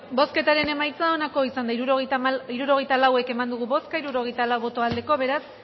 bozketaren emaitza onako izan da hirurogeita lau eman dugu bozka hirurogeita lau boto aldekoa beraz